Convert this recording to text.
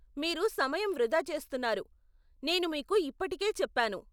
మీరు సమయం వృధా చేస్తున్నారు, నేను మీకు ఇప్పటికే చెప్పాను.